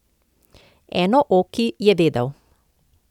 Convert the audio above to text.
Enooki, je vedel.